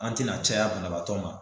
An te na caya banabaatɔ ma.